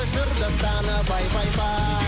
жыр дастаны пай пай пай